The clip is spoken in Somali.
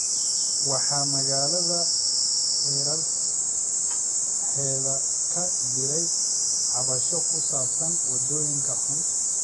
Waxaa magaalada hareeraheeda ka jiray cabasho ku saabsan waddooyinka xun.